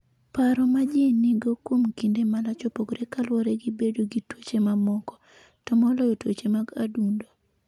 Paro ma ji nigo kuom kinde malach opogore ka luwore gi bedo gi tuoche mamoko, to moloyo tuoche mag adundo.